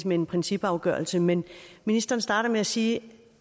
med en principafgørelse men ministeren starter med at sige